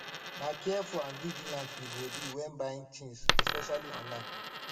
na careful and vigilant we go be when buying tings especially online